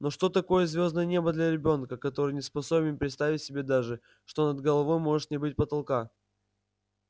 но что такое звёздное небо для ребёнка который не способен представить себе даже что над головой может не быть потолка